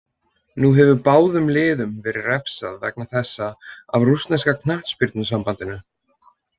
Nú hefur báðum liðum verið refsað vegna þessa af rússneska knattspyrnusambandinu.